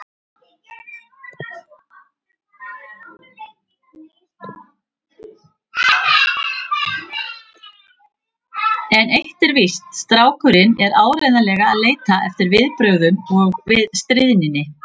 En eitt er víst: Strákurinn er áreiðanlega að leita eftir viðbrögðum við stríðninni.